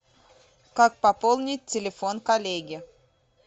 как пополнить телефон коллеги